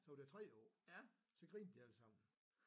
Så var der 3 på så grinte de alle sammen